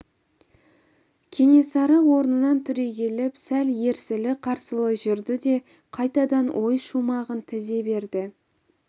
кенесары орнынан түрегеліп сәл ерсілі-қарсылы жүрді де қайтадан ой шумағын тізе берді